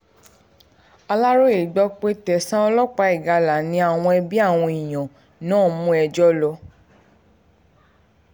aláròye gbọ́ pé tẹ̀sán ọlọ́pàá ìgalà ni àwọn ẹbí àwọn èèyàn náà mú ẹjọ́ lọ